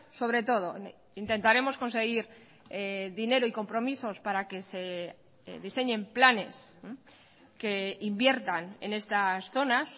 sobre todo intentaremos conseguir dinero y compromisos para que se diseñen planes que inviertan en estas zonas